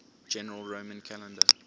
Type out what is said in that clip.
general roman calendar